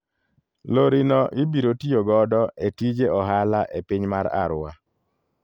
Lori no ibiro tiyo godo e tije ohala e piny mar Arua.